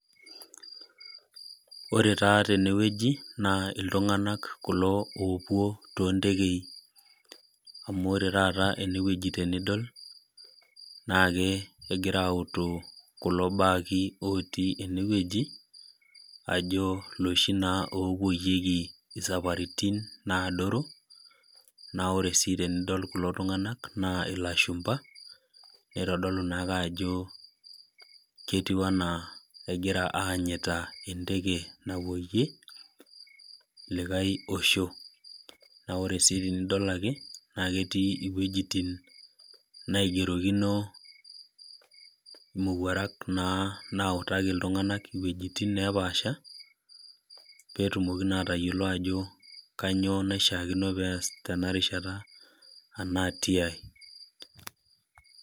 Ore taa tenewueji naa iltung'anak kulo opuo tontekei. Ore taata enewueji tenidol, naa kegira autu kulo bagi otii enewueji, ajo loshi naa opoyieki safaritin adoru, na ore si tenidol kulo tung'anak, naa ilashumpa, nitodolu naake ajo ketiu enaa egira aanyita enteke napoyie, likae osho. Na ore si tenidol ake, naketii iwuejiting naigerokino imowuarak nautaki iltung'anak iwuejiting nepaasha, petumoki naa atayiolo ajo kanyioo naishaakino pees tenarishata, enaa tiai.